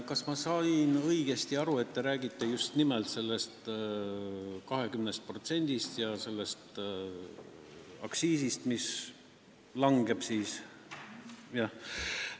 Kas ma sain õigesti aru, et te peate silmas just nimelt seda 20% ja seda aktsiisi, mis siis langeb?